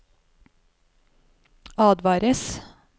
advares